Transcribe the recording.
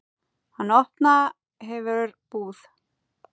Hann opna hefur búð.